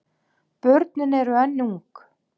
Börnin eru enn ung.